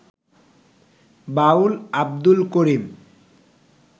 বাউল Abdul করিম